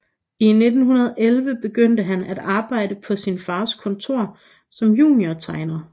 I 1911 begyndte han at arbejde på sin fars kontor som juniortegner